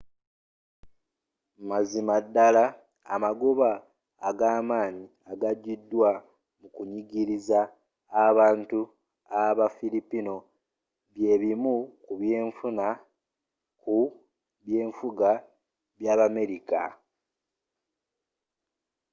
mazima ddala amagoba agamaanyi agajidwa mu kunyigiriza abantu aba fillipino byebimu ku byenfuna ku byenfuga byabamerika